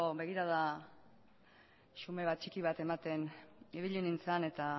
begirada xume bat txiki bat ematen ibili nintzen eta